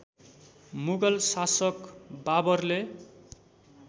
मुगल शासक बाबरले